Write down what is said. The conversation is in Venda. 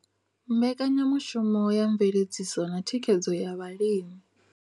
Mbekanyamushumo ya mveledziso na thikhedzo ya vhalimi.